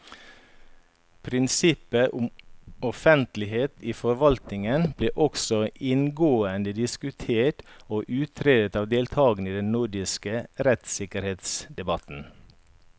Prinsippet om offentlighet i forvaltningen ble også inngående diskutert og utredet av deltakerne i den nordiske rettssikkerhetsdebatten.